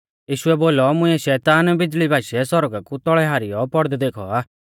यीशुऐ बोलौ मुंइऐ शैतान बिज़ल़ी बाशीऐ सौरगा कु तौल़ै हारीयौ पौड़दै देखौ आ